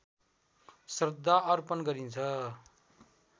श्रद्धा अर्पण गरिन्छ